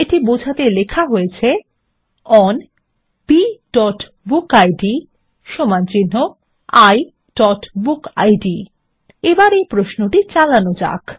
এটি বোঝাতে লেখা হয়েছে ওন bবুকিড iবুকিড এবার এই প্রশ্নটি চালানো যাক